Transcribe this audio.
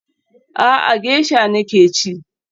A'a, gesha nake ci